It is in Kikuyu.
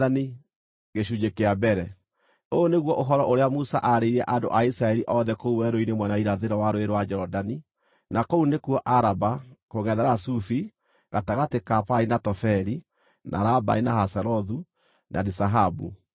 Ũyũ nĩguo ũhoro ũrĩa Musa aarĩirie andũ a Isiraeli othe kũu werũ-inĩ mwena wa irathĩro wa Rũũĩ rwa Jorodani, na kũu nĩkuo Araba, kũngʼethera Sufi, gatagatĩ ka Parani na Tofeli, na Labani, na Hazerothu na Dizahabu.